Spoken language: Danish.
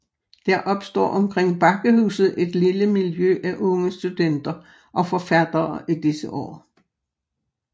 Der opstår omkring Bakkehuset et lille miljø af unge studenter og forfattere i disse år